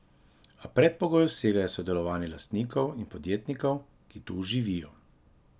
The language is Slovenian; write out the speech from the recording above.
A predpogoj vsega je sodelovanje lastnikov in podjetnikov, ki tu živijo.